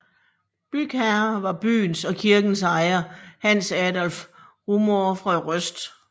Bygherre var byens og kirkens ejer Hans Adolph Rumohr fra Røst